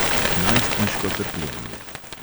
Najstniško trpljenje.